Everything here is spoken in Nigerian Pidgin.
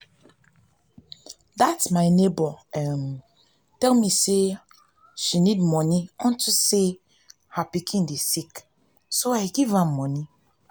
dat my neighbor[ um ] tell me say she need money unto say her pikin dey sick so i give am money.